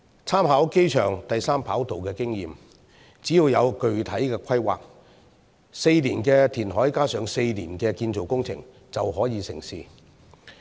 參考機場第三跑道的經驗，只要有具體規劃 ，4 年的填海加上4年的建造工程，便可以成事。